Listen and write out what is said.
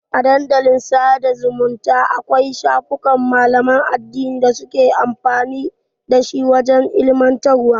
A Dandalin sada zumunta Akwai shafukan malaman addini da suke amfani dashi wajan ilimantarwa